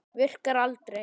Virkar aldrei.